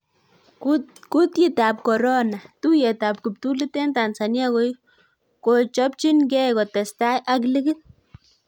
Kutietab Korona: Tuiyet ab kiptulit en Tanzania kochopchin gee kotestai ak ligit